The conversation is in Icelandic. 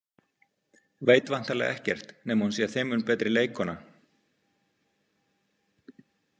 Veit væntanlega ekkert nema hún sé þeim mun betri leikkona.